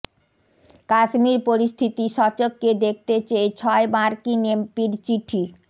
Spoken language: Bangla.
কাশ্মীর পরিস্থিতি স্বচক্ষে দেখতে চেয়ে ছয় মার্কিন এমপির চিঠি